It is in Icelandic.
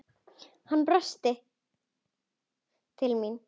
Hann brosir til mín.